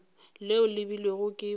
leo le beilwego ke badimo